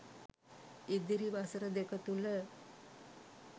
ඉදිරි වසර දෙක තුළ